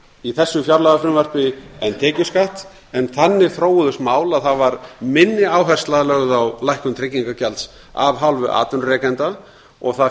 í þessu fjárlagafrumvarpi en tekjuskatt en þannig þróuðust mál að það var minni áhersla lögð á lækkun tryggingagjalds af hálfu atvinnurekenda og það